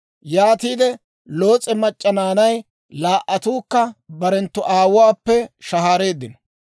Yaatide Loos'e mac'c'a naanay laa"attuukka barenttu aawuwaappe shahaareeddino.